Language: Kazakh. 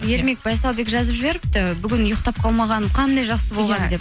ермек байсалбек жазып жіберіпті бүгін ұйықтап қалмағаным қандай жақсы болған деп